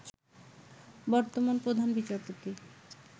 বর্তমান প্রধান বিচারপতি